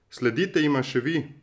Sledite jima še vi!